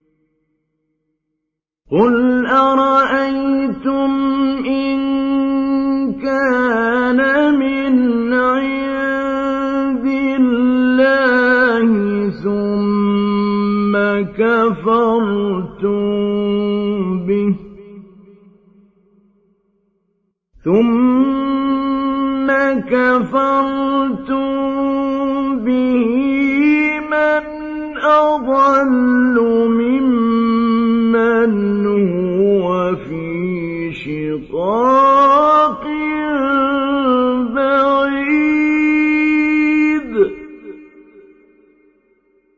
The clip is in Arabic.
قُلْ أَرَأَيْتُمْ إِن كَانَ مِنْ عِندِ اللَّهِ ثُمَّ كَفَرْتُم بِهِ مَنْ أَضَلُّ مِمَّنْ هُوَ فِي شِقَاقٍ بَعِيدٍ